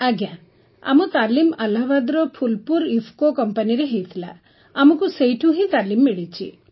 ଆଜ୍ଞା ଆମ ତାଲିମ ଆହ୍ଲାବାଦର ଫୁଲ୍ପୁର୍ ଇଫ୍କୋ କମ୍ପାନୀରେ ହୋଇଥିଲା ଆମକୁ ସେହିଠାରୁ ହିଁ ତାଲିମ ମିଳିଛି